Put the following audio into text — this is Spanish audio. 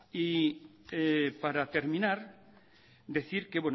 para terminar decir que